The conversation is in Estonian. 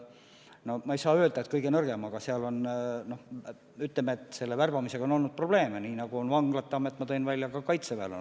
No ma ei saa öelda, et see kõige nõrgem valdkond on, aga seal on värbamisega olnud probleeme, nii nagu ka Vanglate Ametis.